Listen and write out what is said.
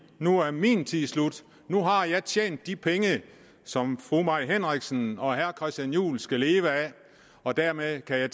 nu er min tid slut nu har jeg tjent de penge som fru mai henriksen og herre christian juhl skal leve af og dermed kan jeg